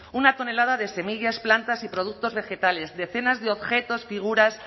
una tonelada de semillas plantas y productos vegetales decenas de objetos figuras